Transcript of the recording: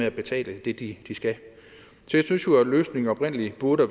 at betale det de skal jeg synes jo løsningen oprindelig burde